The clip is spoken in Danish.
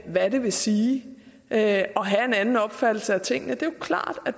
hvad det vil sige at have en anden opfattelse af tingene det er jo klart at